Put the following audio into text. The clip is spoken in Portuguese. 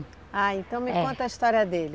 Ah, então me conta a história dele.